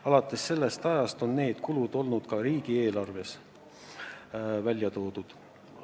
Alates sellest ajast on need kulud olnud ka riigieelarves välja toodud.